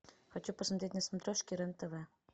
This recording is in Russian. хочу посмотреть на смотрешке рен тв